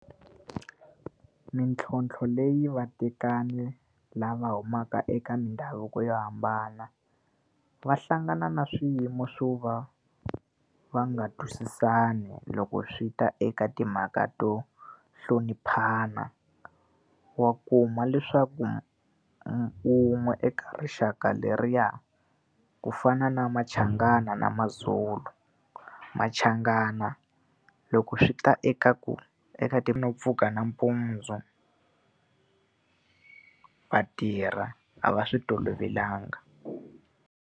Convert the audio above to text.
Mintlhontlho leyi vatekani lava humaka eka mindhavuko yo hambana, va hlangana na swiyimo swo va va nga twisisani loko swi ta eka timhaka to hloniphana. Wa kuma leswaku wun'we eka rixaka leriya, ku fana na Machangana na maZulu, Machangana loko swi ta eka ku eka pfuka nampundzu va tirha a va swi tolovelanga.